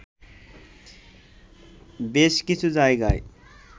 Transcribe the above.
বেশ কিছু জায়গায়